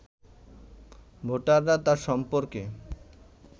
ভোটাররা তার সম্পর্কে